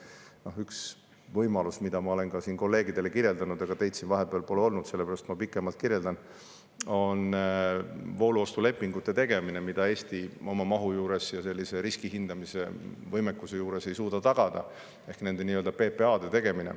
Muu hulgas näiteks üks võimalus, mida ma olen siin kolleegidele kirjeldanud – teid siin vahepeal pole olnud, sellepärast ma pikemalt kirjeldan –, on voolu ostulepingute ehk nii-öelda PPA‑de tegemine, mida Eesti oma mahu ja riskihindamise võimekuse juures ei suuda tagada.